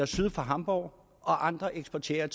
syd for hamborg og andre eksporterer